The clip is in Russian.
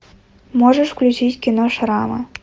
можешь включить кино шрамы